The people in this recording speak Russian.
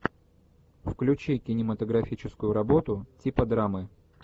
включи кинематографическую работу типа драмы